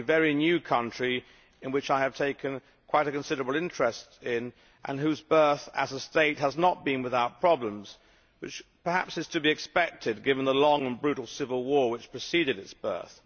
This is a very new country in which I have taken quite a considerable interest and whose birth as a state has not been without problems, which is perhaps to be expected given the long and brutal civil war which preceded its birth.